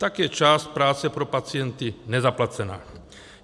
Tak je část práce pro pacienty nezaplacena.